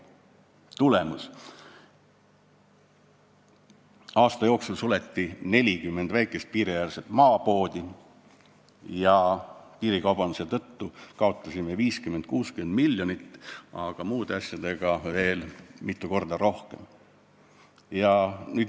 " Tulemus: aasta jooksul suleti 40 väikest piiriäärset maapoodi ja piirikaubanduse tõttu kaotasime 50–60 miljonit, aga muude asjadega veel mitu korda rohkem.